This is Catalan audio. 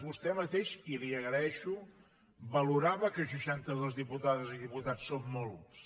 vostè mateix i li ho agreixo valorava que seixantados diputades i diputats són molts